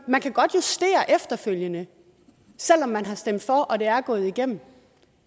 man kan godt justere efterfølgende selv om man har stemt for og det er gået igennem